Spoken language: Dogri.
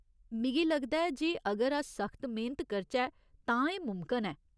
मिगी लगदा ऐ जे अगर अस सख्त मेह्‌नत करचै तां एह् मुमकन ऐ।